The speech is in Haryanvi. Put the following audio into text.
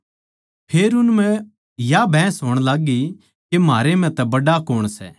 फेर उन म्ह या बहस होण लाग्गी के म्हारै तै बड्ड़ा कौण सै